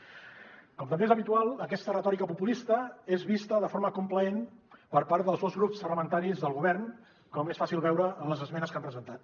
com també és habitual aquesta retòrica populista és vista de forma complaent per part dels dos grups parlamentaris del govern com és fàcil veure en les esmenes que han presentat